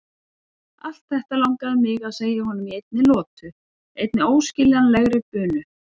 Allt þetta langaði mig að segja honum í einni lotu, einni óskiljanlegri bunu.